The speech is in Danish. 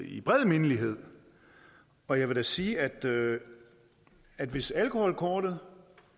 i bred mindelighed og jeg vil da sige at at hvis alkoholkortet